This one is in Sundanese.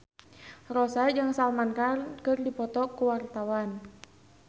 Rossa jeung Salman Khan keur dipoto ku wartawan